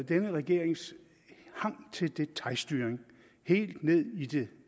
denne regerings hang til detailstyring helt ned i det